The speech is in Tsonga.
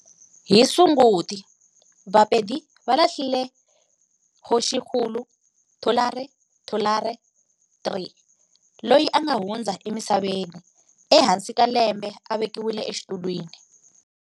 Hi Sunguti, Vapedi va lahlile Kgoshikgolo Thulare Thulare III, loyi a nga hundza emisaveni ehansi ka lembe a vekiwile exitulwini.